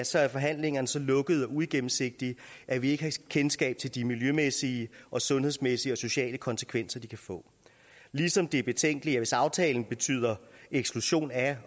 så er forhandlingerne så lukkede og uigennemsigtige at vi ikke har kendskab til de miljømæssige sundhedsmæssige og sociale konsekvenser de kan få ligesom det er betænkeligt hvis aftalen betyder eksklusion af